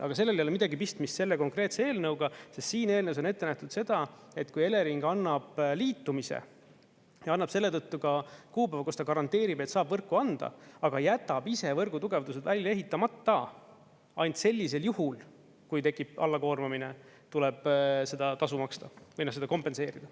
Aga sellel ei ole midagi pistmist selle konkreetse eelnõuga, sest siin eelnõus on ette nähtud seda, et kui Elering annab liitumise ja annab selle tõttu ka kuupäeva, kus ta garanteerib, et saab võrku anda, aga jätab ise võrgutugevdused välja ehitamata, ainult sellisel juhul, kui tekib allakoormamine, tuleb seda tasu maksta või seda kompenseerida.